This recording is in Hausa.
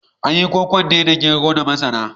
An yi kokon ne da gero da masara.